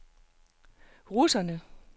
russerne